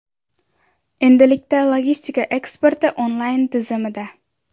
Endilikda logistika eksporti onlayn tizimida.